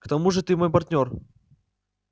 к тому же ты мой партнёр